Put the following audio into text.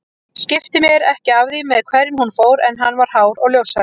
Skipti mér ekki af því með hverjum hún fór en hann var hár og ljóshærður